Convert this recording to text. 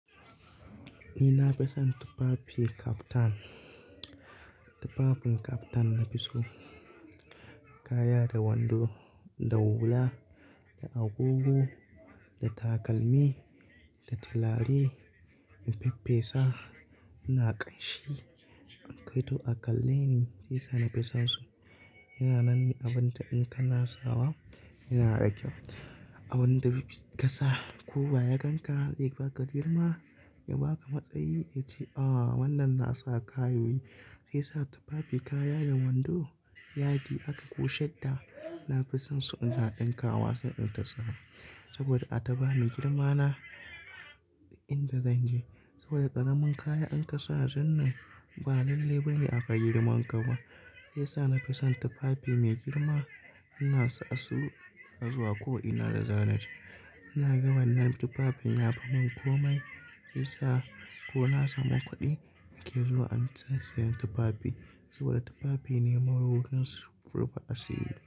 Ni na fi son tufafi kaftan. Tufafin kaftan na fi so kaya da wando, da hula, da agogo, da takalmi, da tilare, infi fesa ina ƙanshi. Kai to a kalle ne sai sa na fi sonsu. Ina nan ni abin da in ka na sawa ina da kyau. Wanda kasa kowa ya ganka zai baka girma ya baka matsayi yace ah wannan nasa kayoyi sai sa tufafi kaya da wando yadi aka ko shadda, nafi sonsu ina ɗinka wa sai in ta sawa. Saboda a ta bani girmana inda zan je. Saboda ƙaramin kaya in ka sa zan nan ba lallai bane aga girman ka ba. Sai sa nafi son tufafi mai girma ina sa su in na zuwa ko ina da zana je. Ina ga wannan tufafin ya fimin komai, sai sa ko na samu kuɗi nake zuwa an sa sayan tufafi. Saboda tufafi ne mawarorin su rufa asiri.